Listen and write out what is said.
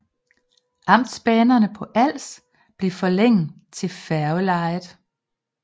Amtsbanerne på Als blev forlænget til færgelejet